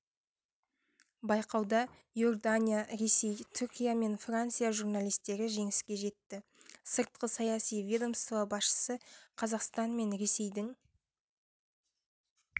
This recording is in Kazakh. байқауда иордания ресей түркия мен франция журналистері жеңіске жетті сыртқы саяси ведомство басшысы қазақстан мен ресейдің